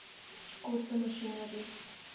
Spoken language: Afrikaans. koste masjinerie